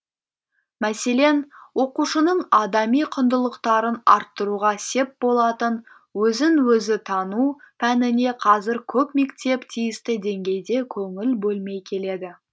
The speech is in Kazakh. мәселен оқушының адами құндылықтарын арттыруға сеп болатын өзін өзі тану пәніне қазір көп мектеп тиісті деңгейде көңіл бөлмей келеді